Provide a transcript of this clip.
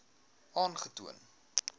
aangetoon